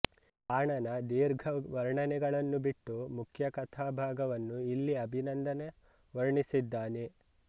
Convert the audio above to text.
ಬಾಣನ ದೀರ್ಘ ವರ್ಣನೆಗಳನ್ನು ಬಿಟ್ಟು ಮುಖ್ಯ ಕಥಾ ಭಾಗವನ್ನೂ ಇಲ್ಲಿ ಅಭಿನಂದನ ವರ್ಣಿಸಿದ್ದಾನೆ